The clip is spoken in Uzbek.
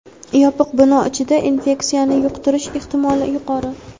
yopiq bino ichida infeksiyani yuqtirish ehtimoli yuqori.